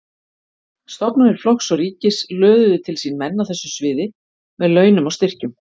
Stofnanir flokks og ríkis löðuðu til sín menn á þessu sviði með launum og styrkjum.